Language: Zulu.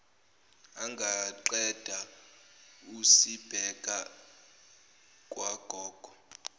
ungaqeda usibeke kwagogo